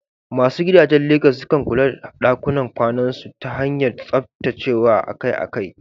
Masu gidajen Legas sukan kula da ɗakunan kwanansu ta hanyar tsaftacewa akai-akai.